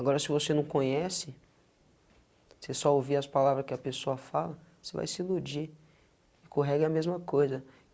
Agora se você não conhece, você só ouvir as palavras que a pessoa fala, você vai se iludir e com o reggae é a mesma coisa.